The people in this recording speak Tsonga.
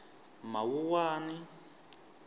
mawuwani